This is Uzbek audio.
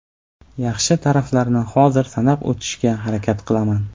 Yaxshi taraflarini hozir sanab o‘tishga harakat qilaman.